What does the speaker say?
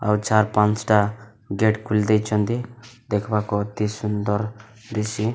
ଆଉ ଚାର ପାଁଚ ଟା ଗେଟ ଖୋଲି ଦେଇଚନ୍ତି ଦେଖିବାକୁ ଅତି ସୁନ୍ଦର ଦିସି।